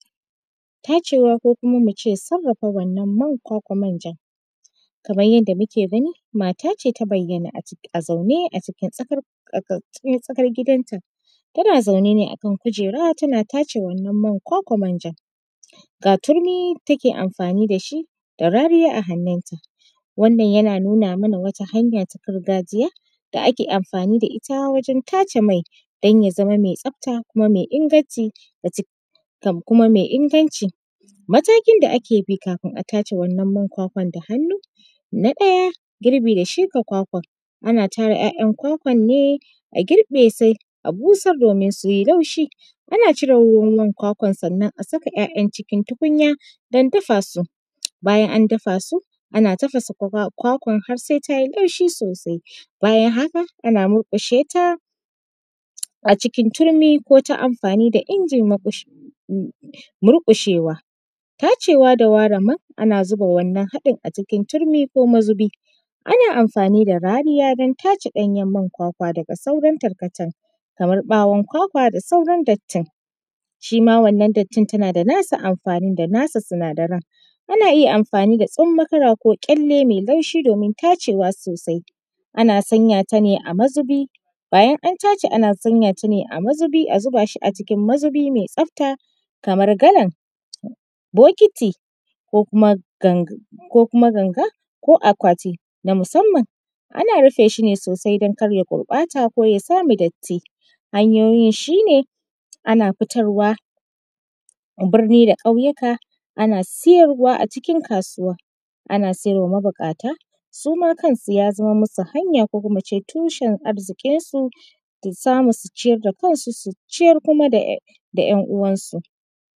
Tacewa ko kuma mu ce sarrafa wannan man kwakwar manjan. Kamar yadda muke gani mata ce ta bayyana a zaune cikin tsakar gidan ta, tana zaune ne akan kujera tana tace wannan man kwakwar manjan. Ga turmi da take amfani da shi da rariya a hannun ta wannan yina nuna mana wata hanya ta gargajiya da ake amfani da ita wajen tace mai don ya zamamai tsabta kuma mai inganci kuma mai inganci. Matakin da ake bi kafin a tace wannan man kwakwar da hannu: Na ɗaya, girbi da shuka kwakwar ana tara ‘ya’yan kwakwar ne girbe sai a busar domin su yi laushi. Ana cire ruwan-ruwan kwakwar sannan a saka ‘ya’yan cikin tukunya don dafa su. Bayan an dafa su ana tafasa kwakwar har sai ta yi laushi sosai, bayann haka ana murƙushe ta a cikin turmi ko ta amfani da injin murƙushi murƙushewa Tacewa da ware man ana zuba wannan haɗin a cikin turmi ko mazubi, ana amfani da rariya don tace ɗanyen man kwakwa daga sauran tarkacen kamar ɓawon kwakwa da sauran dattin shima wannan dattin tana da nasu amfanin da nsu sinadaran. Ana iya amfani da tsummokara ko ƙyalle mai laushi domin tacewa sosai, ana sanya ta ne a mazuubi bayan an tace ana sanya ta ne a mazubi a zuba shi a cikin mazubi mai tabta kamar galan, bokiti, ko kuma ganga ko akwati na musamman, ana rufe shi ne sosai don kar ya gurɓata ko ya samu datti. Hanyoyin shine ana fitarwa birni da ƙauyuka ana siyarwa a cikin kasuwa, ana siyarwa mabuƙata suma kan su ya zama masu hanya ko kuma mu ce tushen arziƙi su samu su ciyar da kan su, su ciyar kuma da ‘yan uwan su.